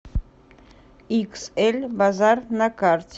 иксэль базар на карте